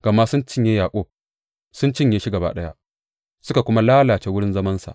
Gama sun cinye Yaƙub; sun cinye shi gaba ɗaya suka kuma lalace wurin zamansa.